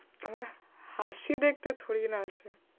আমার হাসি দেখতে থোরিই না আসে।